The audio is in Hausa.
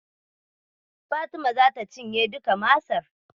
Fatima zata cinye duka Masar.